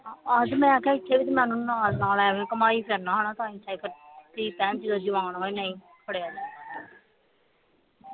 ਆਹੋ ਤੇ ਮੈਂ ਆਖਿਆ ਸੀ ਕਮਾਈ ਧੀ ਭੈਣ ਜਦੋਂ ਜਵਾਨ ਹੋ ਜਾਏ ਨਹੀਂ ਜਾਂਦਾ